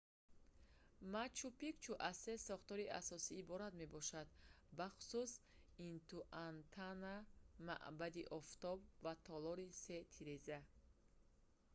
мачу-пикчу аз се сохтори асосӣ иборат мебошад бахусус интиуатана маъбади офтоб ва толори се тиреза